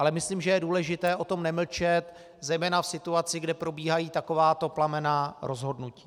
Ale myslím, že je důležité o tom nemlčet zejména v situaci, kde probíhají takováto plamenná rozhodnutí.